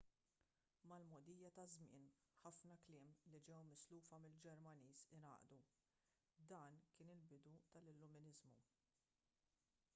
mal-mogħdija taż-żmien ħafna kliem li ġew mislufa mill-ġermaniż ingħaqdu dan kien il-bidu tal-illuminiżmu